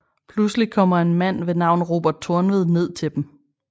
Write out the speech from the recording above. Pludseligt kommer en mand ved navn Robert Tornved ned til dem